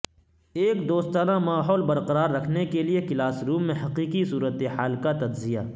ایک دوستانہ ماحول برقرار رکھنے کے لئے کلاس روم میں حقیقی صورت حال کا تجزیہ